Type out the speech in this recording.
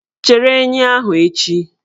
Chere enyi ahụ echi!